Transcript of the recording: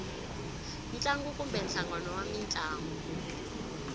ntlangu kumbe nhlangano wa mintlangu